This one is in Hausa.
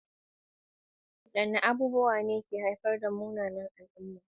Wadanne abubuwa ne ke haifar da munanan al'umma?